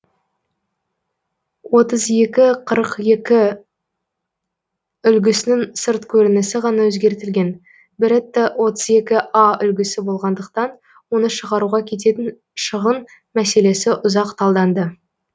отыз екі қырық екі үлгісінің сырт көрінісі ғана өзгертілген беретта отыз екі а үлгісі болғандықтан оны шығаруға кететін шығын мәселесі ұзақ талданды